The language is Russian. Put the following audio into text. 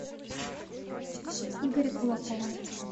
игоря кулакова